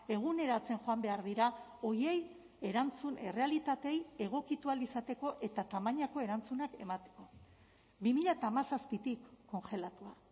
eguneratzen joan behar dira horiei erantzun errealitateei egokitu ahal izateko eta tamainako erantzunak emateko bi mila hamazazpitik kongelatua